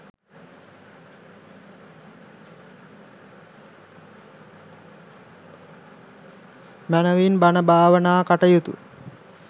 මැනවින් බණ භාවනා කටයුතු